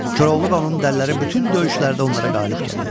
Koroğlu və onun dəliləri bütün döyüşlərdə onlara qalib gəlirlər.